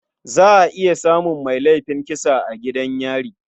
Za a iya samun mai laifin kisan a gidan yari.